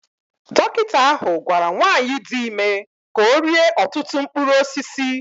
Dọkịta ahụ gwara nwanyị dị ime ka ọ rie ọtụtụ mkpụrụ osisi